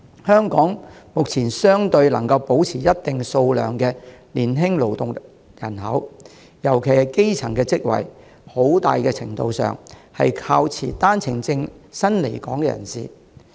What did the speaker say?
香港目前能保持一定數量的年輕勞動人口投入生產，特別是從事基層職位，很大程度上是靠持單程證來港人士的補充。